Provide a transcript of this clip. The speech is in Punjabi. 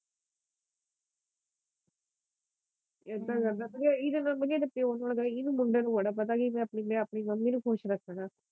ਏਦਾਂ ਕਰਦਾ ਏਦੇ ਨਾਲੋਂ ਏਦੇ ਪਿਓ ਨੂੰ ਲਗਾ ਹੀ ਕੀ ਮੁੰਡੇ ਨੂੰ ਬੜਾ ਪਤਾ ਕੀ ਮੈ ਆਪਣੀ ਮੰਮੀ ਨੂੰ ਖੁਸ਼ ਰੱਖਣਾ।